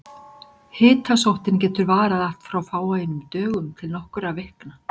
Hitasóttin getur varað allt frá fáeinum dögum til nokkurra vikna.